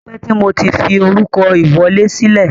O tipẹ́ tí mo tí fi orúkọ ìwọlé sílẹ̀.